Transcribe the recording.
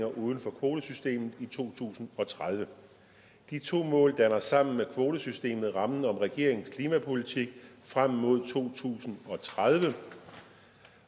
uden for kvotesystemet i to tusind og tredive de to mål danner sammen med kvotesystemet rammen om regeringens klimapolitik frem mod to tusind og tredive